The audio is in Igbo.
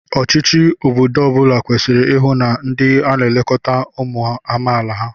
Ọchịchị obodo ọ bụla kwesịrị ịhụ na a na-elekọta ụmụ amaala ha